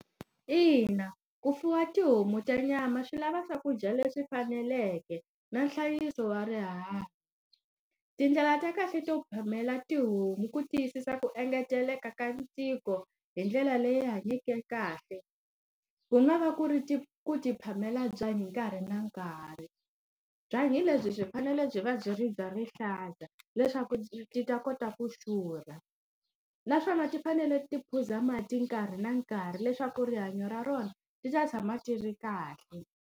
Ina ku fuwa tihomu ta nyama swi lava swakudya leswi faneleke na nhlayiso wa rihanyo. Tindlela ta kahle to phamela tihomu ku tiyisisa ku engeteleka ka ntiko hi ndlela leyi hanyeke kahle, ku nga va ku ri ti ku ti phamela byanyi nkarhi na nkarhi. Byanyi lebyi byi fanele byi va byi ri bya rihlaza leswaku ti ta kota ku xurha. Naswona ti fanele ti phuza mati nkarhi na nkarhi leswaku rihanyo ra rona ri ta tshama ti ri kahle.